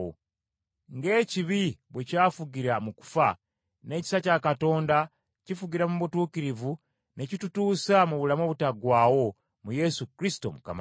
Ng’ekibi bwe kyafugira mu kufa, n’ekisa kya Katonda kifugira mu butuukirivu ne kitutuusa mu bulamu obutaggwaawo mu Yesu Kristo Mukama waffe.